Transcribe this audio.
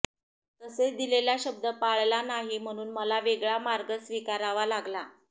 तसेच दिलेला शब्द पाळला नाही म्हणून मला वेगळा मार्ग स्वीकारावा लागला